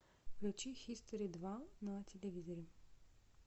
включи хистори два на телевизоре